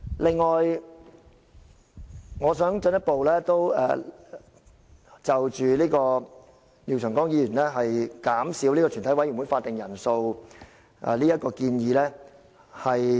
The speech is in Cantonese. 此外，我想進一步回應廖長江議員減少全體委員會法定人數這項建議。